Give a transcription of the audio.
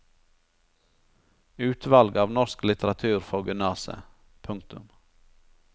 Utvalg av norsk litteratur for gymnaset. punktum